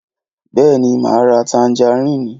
Bèéní, máa ra tanjarínì.